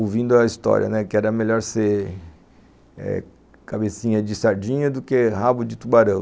ouvindo a história, né, que era melhor ser cabecinha de sardinha do que rabo de tubarão.